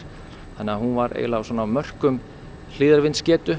þannig að hún var svona á mörkum